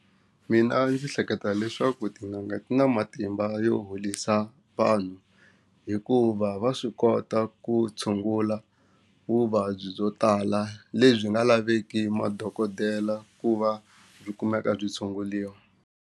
Mina ndzi hleketa leswaku tin'anga ti na matimba yo holisa vanhu hikuva va swi kota ku tshungula vuvabyi byo tala lebyi nga laveki madokodela ku va byi kumeka byi tshunguliwa.